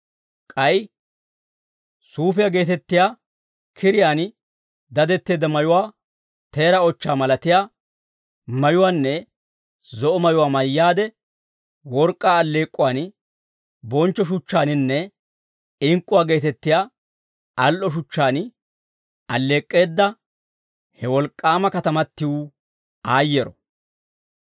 K'ay, «Suufiyaa geetettiyaa, kiriyaan dadetteedda mayuwaa, teera ochchaa malatiyaa, mayuwaanne zo'o mayuwaa mayyaade, work'k'aa alleek'k'uwaan, bonchcho shuchchaaninne, ink'k'uwaa geetettiyaa al"o shuchchaan alleek'k'eedda, he wolk'k'aama katamatiw aayyeero!